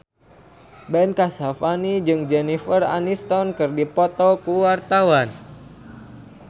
Ben Kasyafani jeung Jennifer Aniston keur dipoto ku wartawan